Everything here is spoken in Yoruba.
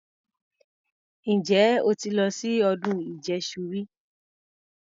Ǹjẹ́ o ti lọ sí ọdún ìjẹṣu rí?